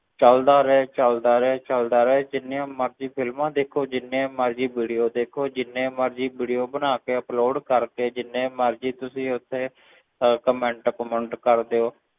ਚੱਲਦਾ ਰਹੇ ਚੱਲਦਾ ਰਹੇ ਚੱਲਦਾ ਰਹੇ, ਜਿੰਨੀਆਂ ਮਰਜ਼ੀ films ਦੇਖੋ, ਜਿੰਨੇ ਮਰਜ਼ੀ video ਦੇਖੋ, ਜਿੰਨੇ ਮਰਜ਼ੀ video ਬਣਾ ਕੇ upload ਕਰਕੇ, ਜਿੰਨੇ ਮਰਜ਼ੀ ਤੁਸੀਂ ਉਸ ਤੇ ਅਹ comment ਕਮੁੰਟ ਕਰ ਦਿਓ